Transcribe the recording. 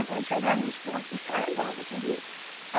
Aí quando chegava nos portos, descarregava tudinho.